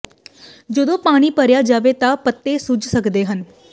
ਜਦੋਂ ਪਾਣੀ ਭਰਿਆ ਜਾਵੇ ਤਾਂ ਪੱਤੇ ਸੁੱਜ ਸਕਦੇ ਹਨ